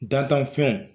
Dantanfɛnw